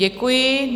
Děkuji.